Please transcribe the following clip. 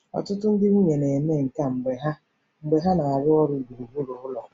Ọtụtụ ndị nwunye na-eme nke a mgbe ha mgbe ha na-arụ ọrụ gburugburu ụlọ.